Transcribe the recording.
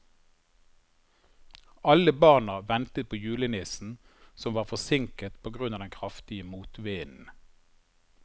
Alle barna ventet på julenissen, som var forsinket på grunn av den kraftige motvinden.